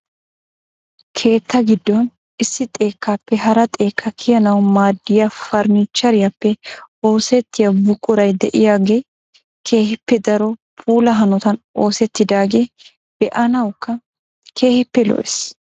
keettaa giddon issi xekkappe hara xekkaa kiyyanaw maaddiya farannicheriyappe oosettiya buquray de'iyaagee keehippe daro puula hanotan oosettidaagee be'anawukka keehippe lo'ees.